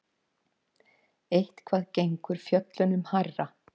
Eitthvað gengur fjöllunum hærra